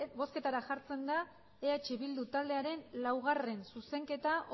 bozketara jartzen da eh bildu taldearen laugarrena zuzenketa